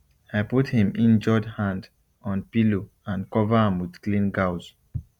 i put him injured hand on pillow and cover am with clean gauze